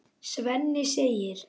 Svenni segir